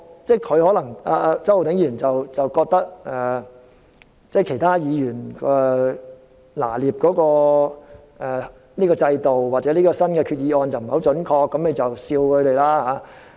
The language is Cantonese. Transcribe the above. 周浩鼎議員可能覺得其他議員對制度或這項決議案的拿捏不太準確，所以便取笑他們。